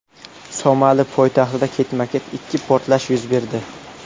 Somali poytaxtida ketma-ket ikki portlash yuz berdi.